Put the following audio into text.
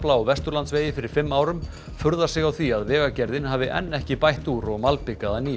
á Vesturlandsvegi fyrir fimm árum furðar sig á því að Vegagerðin hafi enn ekki bætt úr og malbikað að nýju